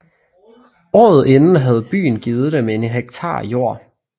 Året inden havde byen givet dem en hektar jord